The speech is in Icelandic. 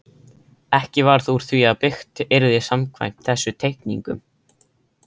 Ekki varð úr því að byggt yrði samkvæmt þessum teikningum.